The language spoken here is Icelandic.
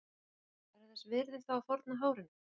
Hafsteinn: Er það þess virði þá að fórna hárinu?